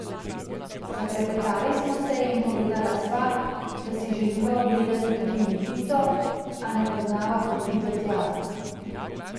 Zaklepetali smo se in povedala sva, da si želiva ogledati tudi Lipico, a ne poznava poti do tja.